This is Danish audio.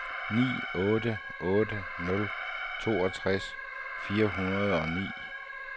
ni otte otte nul toogtres fire hundrede og ni